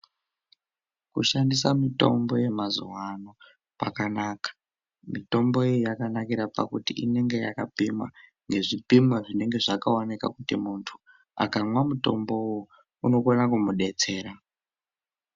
Kushandisa mitombo yemazuwano kwakanaka. Mitombo iyi yakanakira pakuti inenge yakapimwa ngezvipimo zvinenge zvakaonekwa kuti muntu akamwa mutomboyo unokona kumudetsera.